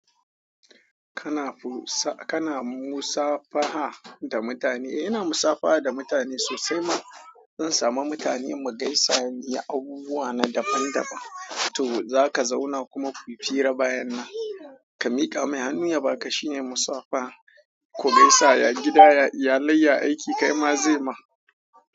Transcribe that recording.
Kana musafaha da mutane? E, ina musafaha da mutane sosai ma. In samu mutane mu gaisa, mu yi abubuwa na daban-daban. To za ka zauna kuma ku fira bayan nan. Ka miƙa mai hannu yaba ka shine musafaha. Ku gaisa ya gida ya iyalai ya aiki. Kai ma zai ma.